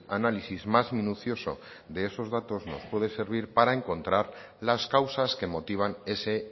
análisis más minucioso de esos datos nos pueden servir para encontrar las causas que motivan ese